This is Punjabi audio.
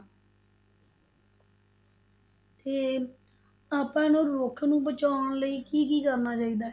ਤੇ ਆਪਾਂ ਨੂੰ ਰੁੱਖ ਨੂੰ ਬਚਾਉਣ ਲਈ ਕੀ ਕੀ ਕਰਨਾ ਚਾਹੀਦਾ ਹੈ?